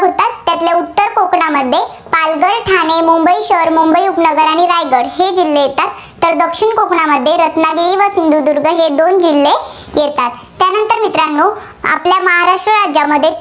त्यातल्या उत्तर कोकणामध्ये पालघर, ठाणे, मुंबई शहर, मुंबई उपनगर आणि रायगड हे जिल्हे येतात. तर दक्षिण कोकणामध्ये रत्नागिरी व सिंधुदुर्ग हे दोन जिल्हे येतात. त्यानंतर मित्रांनो आपल्या महाराष्ट्र राज्यामध्ये